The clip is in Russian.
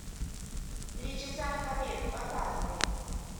три часа на побег показывай